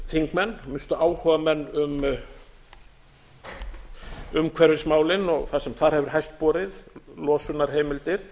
þingmenn að minnsta kosti áhugamenn um umhverfismálin og það sem þar hefur hæst borið losunarheimildir